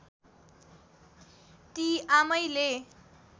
ती आमैले